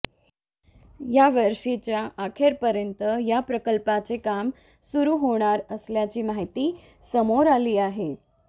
यावर्षीच्या अखेरपर्यंत या प्रकल्पाचे काम सुरु होणार असल्याची माहिती समोर आली आहे